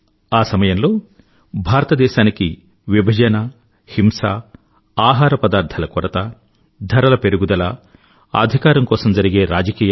ఆ సమయంలో భారతదేశానికి విభజన హింస ఆహార పదార్థాల కొరత ధరల పెరుగుదల అధికారం కొరకై జరిగే రాజకీయాలు